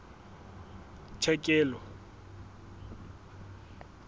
tlhekelo